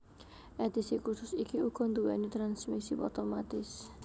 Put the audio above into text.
Edhisi khusus iki uga nduwéni transmisi otomatis